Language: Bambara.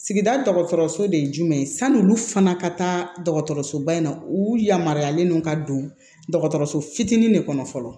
Sigida dɔgɔtɔrɔso de ye jumɛn ye san'olu fana ka taa dɔgɔtɔrɔsoba in na u yamaruyalen don ka don dɔgɔtɔrɔso fitinin de kɔnɔ fɔlɔ